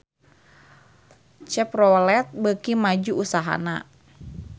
Chevrolet beuki maju usahana